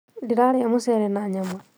Ndĩrarĩa mũcere na nyama